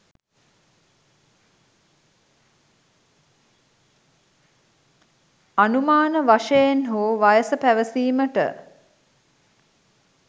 අනුමාන වශයෙන් හෝ වයස පැවසීමට